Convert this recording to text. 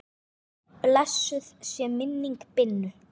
Blessuð sé minning Binnu.